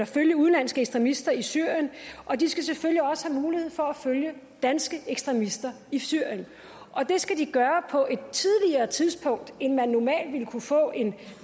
følge udenlandske ekstremister i syrien og de skal selvfølgelig også have mulighed for at følge danske ekstremister i syrien og det skal de gøre på et tidligere tidspunkt end man normalt ville kunne få en